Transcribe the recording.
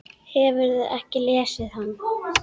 Hefurðu ekki lesið hann?